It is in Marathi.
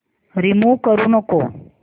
रिमूव्ह करू नको